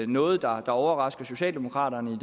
noget der overrasker socialdemokraterne